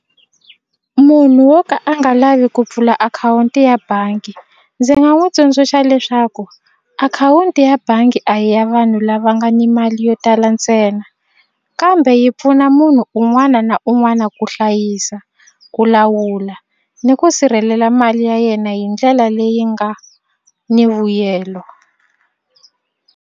Munhu wo ka a nga lavi ku pfula akhawunti ya bangi ndzi nga n'wi tsundzuxa leswaku akhawunti ya bangi a hi ya vanhu lava nga ni mali yo tala ntsena kambe yi pfuna munhu un'wana na un'wana ku hlayisa ku lawula ni ku sirhelela mali ya yena hi ndlela leyi nga ni vuyelo.